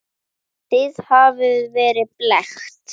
Þið hafið verið blekkt.